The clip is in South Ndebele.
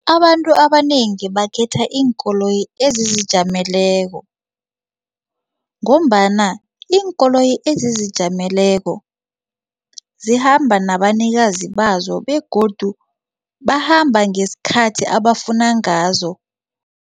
Abantu abanengi bakhetha iinkoloyi ezizijameleko ngombana iinkoloyi ezizijameleko zihamba nabanikazi bazo begodu bahamba ngesikhathi abafuna ngazo.